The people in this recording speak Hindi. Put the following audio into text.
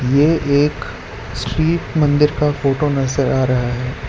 ये एक स्ट्रीट मंदिर का फोटो नजर आ रहा है।